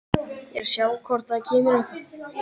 Geysi því að fleiri svipaðir hverir eru til á Íslandi.